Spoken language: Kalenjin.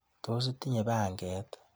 Tos itinye panget?